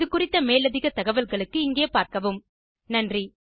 இந்த டுடோரியலுக்கு தமிழாக்கம் கடலூர் திவா குரல் கொடுத்தது ஐஐடி பாம்பேவில் இருந்து பிரியா